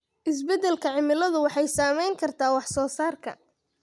Isbeddelka cimiladu waxay saameyn kartaa wax soo saarka.